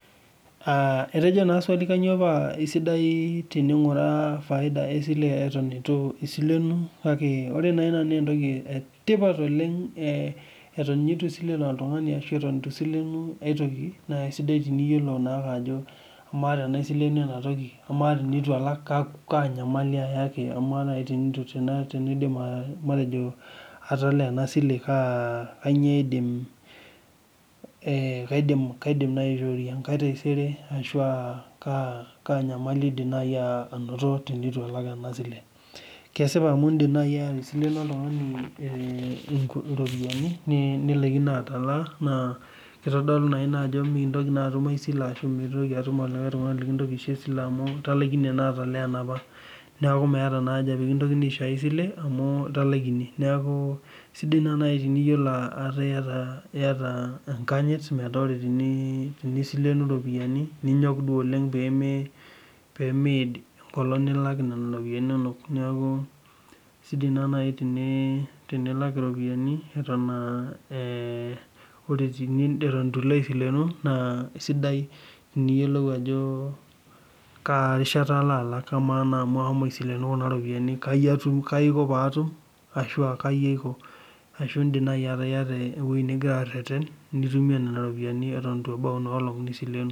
Etojo naa swali kainyio paa esidai tening'uraa faida esile eton eitu isilenu, kake ore naaina naa entoki etipat oleng Eton ninye itu isilen oltung'ani ashuu eton itu isilenu aitoki naa isidai teniyiolou ajo amaa tenaisilenu enatoki amaa tenitu alak kaa nyamali aayaki ninkilikuan kewon ajo amaa tenitu aaidim atalaa taisere kaa nyamali aayaki indim naaji aisileno oltung'ani nkuti ropiyiani nilaikino naaji atalaa, kitodolu naa ina ajo mintoki naa atum enkae sile Ashu mintoki atum olikae tung'ani lintoki aisho esile amu italaikine atalaa enapa neeku meeta haja peekintokini aisho esile amuu italaikine neeku isidai naaji metaa iyata enkanyit metaa tenisilenu iropiyiani ninyok duo oleng pee miid enkolong nilak iropiyani inonok neeku isidai naaji tenilak iropiyiani neeku isidai teniyiolou ajo kaji utumie nena ropiyian piishukie tenkata naaishaakino.